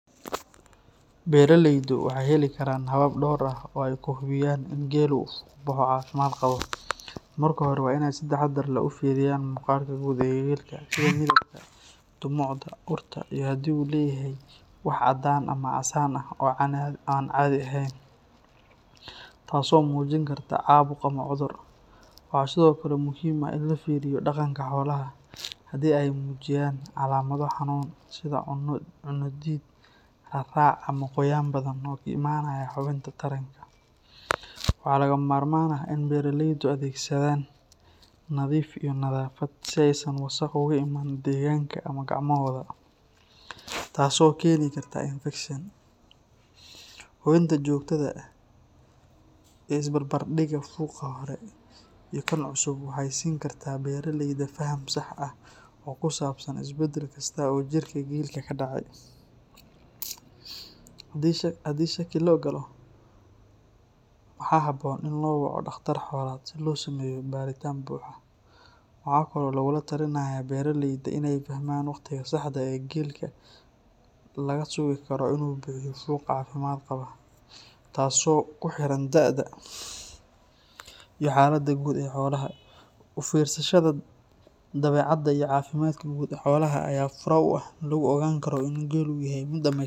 Beraleydu waxay heli karaan habab dhowr ah oo ay ku hubiyaan in gel uu fuqbaxo caafimaad qabo. Marka hore, waa inay si taxaddar leh u fiiriyaan muuqaalka guud ee gelka, sida midabka, dhumucda, urta iyo haddii uu leeyahay wax caddaan ama casaan ah oo aan caadi ahayn, taas oo muujin karta caabuq ama cudur. Waxaa sidoo kale muhiim ah in la fiiriyo dhaqanka xoolaha, haddii ay muujiyaan calaamado xanuun, sida cunno diid, raarac, ama qoyaan badan oo ka imanaya xubinta taranka. Waxaa lagama maarmaan ah in beraleydu adeegsadaan nadiif iyo nadaafad si aysan wasakh uga imaan deegaanka ama gacmahooda, taas oo keeni karta infekshan. Hubinta joogtada ah iyo isbarbardhigga fuqa hore iyo kan cusub waxay siin kartaa beraleyda faham sax ah oo ku saabsan isbedel kasta oo jirka gelka ka dhacay. Haddii shaki la galo, waxaa habboon in loo waco dhakhtar xoolaad si loo sameeyo baaritaan buuxa. Waxaa kaloo lagula talinayaa beraleyda in ay fahmaan waqtiga saxda ah ee gelka laga sugi karo inuu bixiyo fuq caafimaad qaba, taas oo ku xiran da’da iyo xaaladda guud ee xoolaha. U fiirsashada dabeecadda iyo caafimaadka guud ee xoolaha ayaa ah furaha lagu ogaan karo in gel uu yahay mid dhammays.